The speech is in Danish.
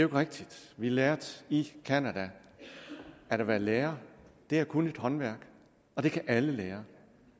rigtigt vi lærte i canada at være lærer er at kunne et håndværk og det kan alle lære